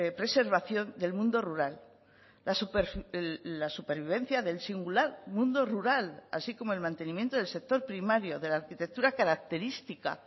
preservación del mundo rural la supervivencia del singular mundo rural así como el mantenimiento del sector primario de la arquitectura característica